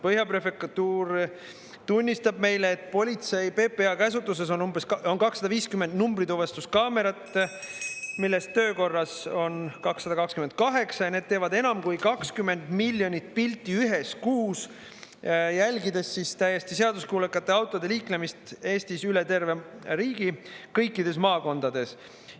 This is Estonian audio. Põhja prefektuur tunnistab meile, et politsei, PPA käsutuses on 250 numbrituvastuskaamerat, millest töökorras on 228 ja need teevad enam kui 20 miljonit pilti ühes kuus, jälgides siis täiesti seaduskuulekate autode liiklemist Eestis, üle terve riigi, kõikides maakondades.